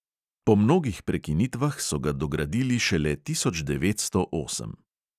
Po mnogih prekinitvah so ga dogradili šele tisoč devetsto osem.